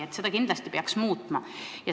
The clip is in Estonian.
Seda peaks kindlasti muutma.